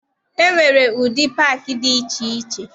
E nwere ụdị paakị dị iche iche.